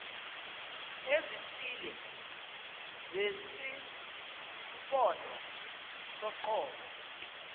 ezithile zesimpondo soqobo